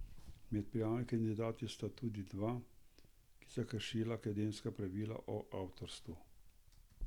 Med prijavljenimi kandidati sta tudi dva, ki sta kršila akademska pravila o avtorstvu.